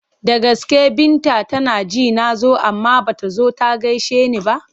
Da gaske Binta tana ji na zo amma ba ta zo ta gaishe ni ba?